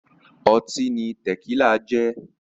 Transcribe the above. Ọtí ni Tẹ̀kílà jẹ́